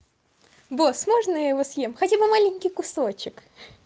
босс можно я его съем хотя бы маленький кусочек